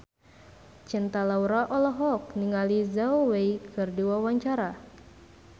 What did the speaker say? Cinta Laura olohok ningali Zhao Wei keur diwawancara